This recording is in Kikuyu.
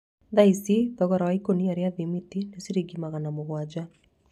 Thaa ici thogora wa ikũnia rĩa thimiti ni ciringi magana mũgwanja